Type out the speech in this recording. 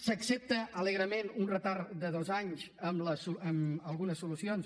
s’accepta alegrement un retard de dos anys en algunes solucions